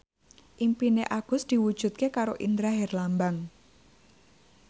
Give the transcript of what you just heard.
impine Agus diwujudke karo Indra Herlambang